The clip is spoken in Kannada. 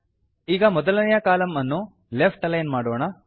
ಈಗ ಮೊದಲನೆಯ ಕಾಲಂ ಅನ್ನು ಲೆಫ್ಟ್ ಅಲೈನ್ ಮಾಡೋಣ